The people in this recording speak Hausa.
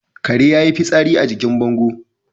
Kare yayi fitsari a jikin bango